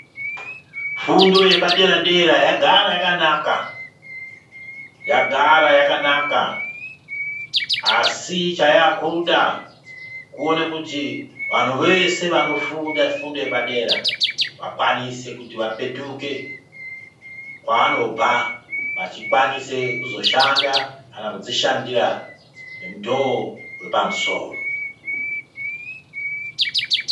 Fundo yepadera -dera yagara yakanaka asi chayaakuda kuone kuti vanhu veshe vanofunda fundo yepadera vakwanise kuti vapetuke kwaanobva vachikwanise kuzoshanda kana kudzishandira ngemutoo wepamusoro.